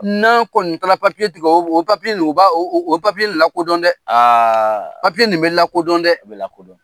N'a kɔni taara papiye tigɛ o papiye nin u b' o papiye lakodɔn dɛ a papiye nin bɛ lakodɔn dɛ